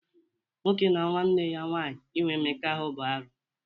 Nwoke na nwanne ya nwaanyị inwe Mmekọahụ bụ arụ.